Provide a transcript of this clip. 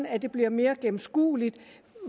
at det bliver mere gennemskueligt